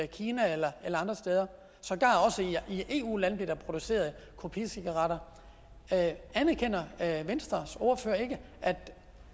kina eller andre steder sågar også i eu lande bliver der produceret kopicigaretter anerkender venstres ordfører ikke at